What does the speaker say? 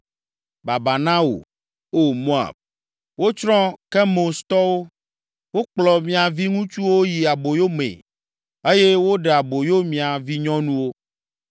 Baba na wò, O Moab! Wotsrɔ̃ Kemostɔwo, wokplɔ mia viŋutsuwo yi aboyo mee eye woɖe aboyo mia vinyɔnuwo.